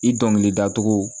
I dɔnkilida cogo